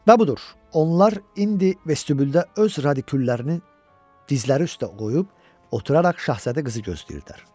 Və budur, onlar indi vestibüldə öz radiküllərini dizləri üstə qoyub oturaraq şahzadə qızı gözləyirdilər.